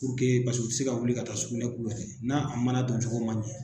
puruke paseke u te se ka taa sugunɛ u yɛrɛ n' a mana don cogo man ɲɛ